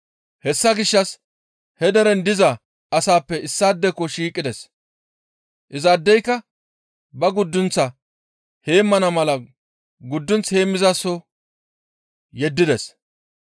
Hessa gishshas he deren diza asaappe issaadeko shiiqides; izaadeyka ba guddunth heemmana mala guddunth heemmizasoho yeddides.